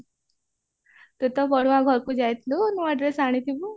ତୁ ତ ପଢୁଆଁ ଘରକୁ ଯାଇଥିଲୁ ନୂଆ ଡ୍ରେସ ଆଣିଥିବୁ